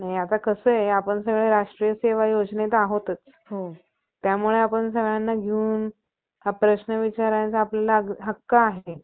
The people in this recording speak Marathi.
कैवारी, महापावित्र, सत्यज्ञानी, सत्यवक्ता बळीराजा हा जगात उत्पन्न झाला. तेव्हा त्यांने जो आपण सर्वांचा, उत्पन्नकर्ता व सर्वांचा महापिता